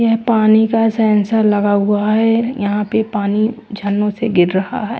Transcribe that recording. यह पानी का सेंसर लगा हुआ है यहां पे पानी झरनों से गिर रहा है।